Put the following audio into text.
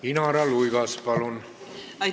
Inara Luigas, palun!